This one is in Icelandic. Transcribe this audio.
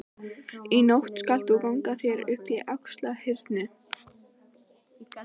Í nótt skalt þú ganga þér upp í Axlarhyrnu.